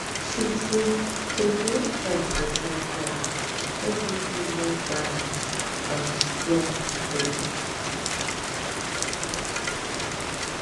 truetrue to create time for time planning help me feel more balanced and strong body